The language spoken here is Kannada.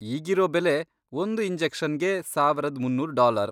ಈಗಿರೋ ಬೆಲೆ ಒಂದು ಇಂಜೆಕ್ಷನ್ಗೆ ಸಾವರದ್ ಮುನ್ನೂರ್ ಡಾಲರ್.